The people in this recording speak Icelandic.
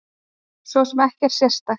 Svo sem ekkert sérstakt.